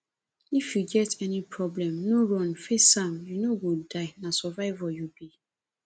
if you get any problem no run face am you no go die na survivor you be